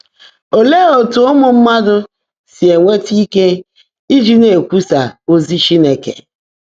Óleé ótú ụ́mụ́ mmádụ́ sí énwétá íke íjí ná-èkwúsá ózí Chínekè?